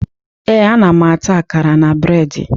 Ee, ana m ata akara na breedi